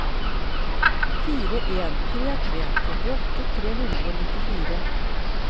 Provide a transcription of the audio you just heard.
fire en tre tre trettiåtte tre hundre og nittifire